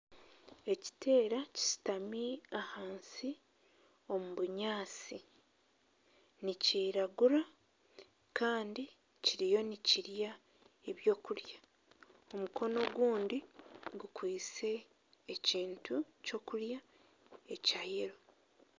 Ekiteera kishutami ahansi omu bunyaatsi nikiriragura kandi kiriyo nikirya eby’okurya omukono ogundi gukwitse ekintu ky’okurya ekya yeero.